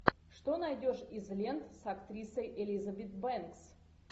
что найдешь из лент с актрисой элизабет бэнкс